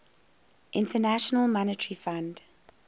international monetary fund